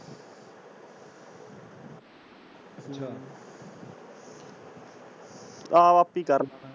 ਆਹੋ ਆਪੇ ਹੀ ਕਰਦਾ ਹੈ।